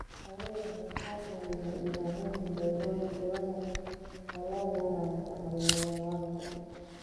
Xooluhu waxay ka caawiyaan ilaalinta deegaanka iyada oo loo marayo bacrimiyeyaasha.